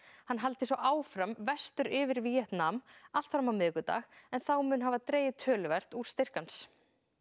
hann haldi svo áfram í vestur yfir Víetnam allt fram á miðvikudag en þá muni hafa dregið töluvert úr styrk hans